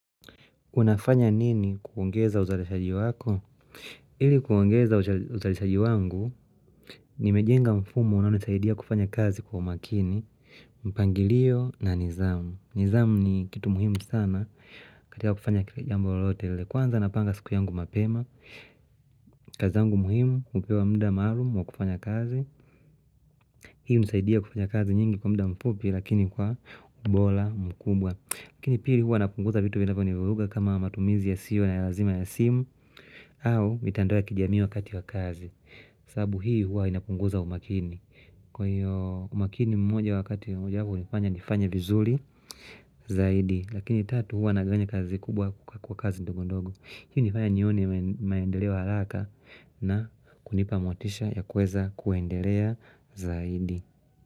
Unafanya nini kuongeza uzalishaji wako? Ili kuongeza uzalishaji wangu, nimejenga mfumo unaonisaidia kufanya kazi kwa umakini, mpangilio na nizamu. Nizamu ni kitu muhimu sana katika kufanya kile jambo lalotele. Kwanza napanga siku yangu mapema, kazi zangu muhimu, hupewa muda maalumu wa kufanya kazi. Hii hunisaidia kufanya kazi nyingi kwa muda mfupi lakini kwa ubora mkubwa. Lakini pili huwa napunguza vitu vinapo niviruga kama matumizi yasiyo ya lazima ya simu au mitandoa kijamii wakati wakazi sababu hii huwa inapunguza umakini Kwa hiyo umakini ni mmoja wakati moja wapo hunifanya vizuri zaidi Lakini tatu huwa nagawanya kazi kubwa kwa kazi nndogondogo Hii hunifanya nione maendeleo wa haraka na kunipa motisha ya kuweza kuendelea zaidi.